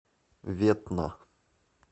ветна